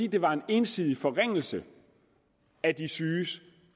det var en ensidig forringelse af de syges